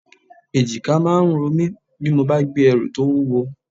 Èjìká máa ń ro mi bí mo bá gbé ẹrù tó wúwo